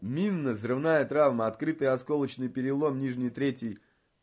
минно взрывная травма открытая осколочный перелом нижней трети